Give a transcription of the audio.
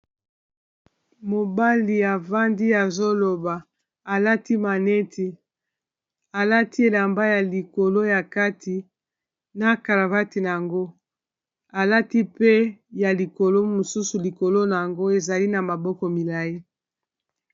Mobali avandi azoloba alati maneti alati elamba ya likolo ya kati na caravate na yango alati pe ya likolo mosusu likolo na yango ezali na maboko milayi.